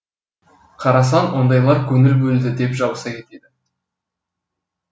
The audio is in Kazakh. қарасаң ондайлар көңіл бөлді деп жабыса кетеді